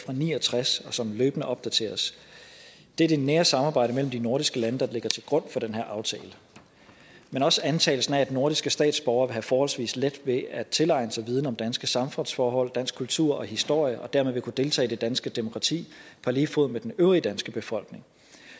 ni og tres og som løbende opdateres det er det nære samarbejde mellem de nordiske lande der ligger til grund for den her aftale men også antagelsen om at nordiske statsborgere vil have forholdsvis let ved at tilegne sig viden om danske samfundsforhold dansk kultur og historie og dermed vil kunne deltage i det danske demokrati på lige fod med den øvrige danske befolkning